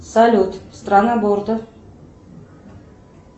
салют страна бордо